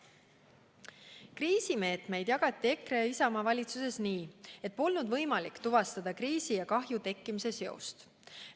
Kriisimeetmeid rakendati EKRE ja Isamaa valitsuses nii, et polnud võimalik tuvastada kriisi ja kahju tekkimise seost.